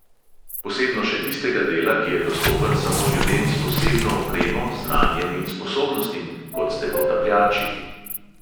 Posebno še tistega dela, ki je dostopen samo ljudem s posebno opremo, znanjem in sposobnostim, kot ste potapljači.